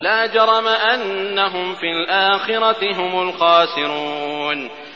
لَا جَرَمَ أَنَّهُمْ فِي الْآخِرَةِ هُمُ الْخَاسِرُونَ